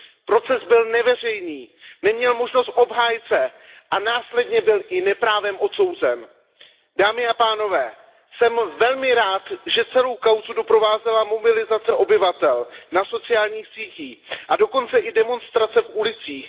Proces byl neveřejný, neměl možnost obhájce a následně byl i neprávem odsouzen. Dámy a pánové, jsem velmi rád, že celou kauzu doprovázela mobilizace obyvatel na sociálních sítích a dokonce i demonstrace v ulicích.